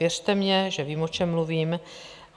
Věřte mně, že vím, o čem mluvím.